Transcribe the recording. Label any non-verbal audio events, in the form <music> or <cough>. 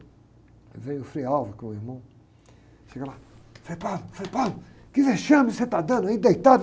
Aí vem o Frei, <unintelligible> que é o irmão, chega lá, Frei, <unintelligible> Frei, <unintelligible> que vexame você está dando aí, deitado?